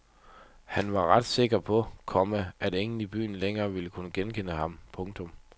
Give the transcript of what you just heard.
Han var ret sikker på, komma at ingen i byen længere ville kunne genkende ham. punktum